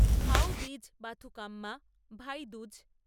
Bhau Beej Bathukamma Bhai Dooj